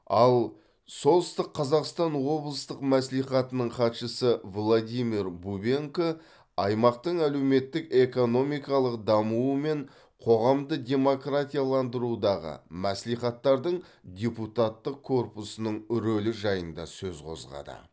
ал солтүстік қазақстан облыстық мәслихатының хатшысы владимир бубенко аймақтың әлеуметтік экономикалық дамуы мен қоғамды демократияландырудағы мәслихаттардың депутаттық корпусының рөлі жайында сөз қозғады